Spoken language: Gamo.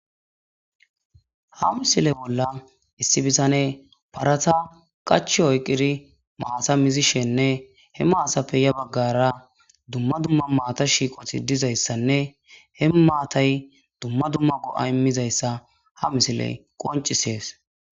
Ha missile bolla issi bittaneyi haretta qachi oyikidi matta mizzishenne he mattappe ya baggara duma duma matta shiqqoti dizzayisanne he mattayi duma duma go''a immizayisa ha missiley qonccises.